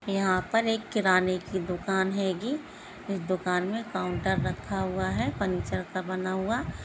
यहाँ पर एक किराने की दुकान हैगी इस दुकान में काउंटर रखा हुआ है फर्नीचर का बना हुआ --